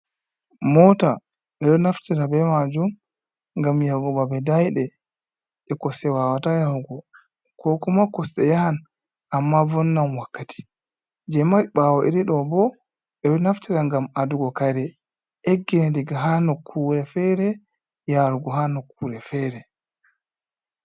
"Moota" ɓeɗo naftira be majum ngam yahugo babe daiɗe e kosɗe wawata yahugo ko kuma kosɗe yahan amma vonnan wakkati. Je mari ɓawo irin ɗo bo ɓeɗo naftira ngam adugo kare egge diga ha nokkure fere yarugo ha nokkure fere.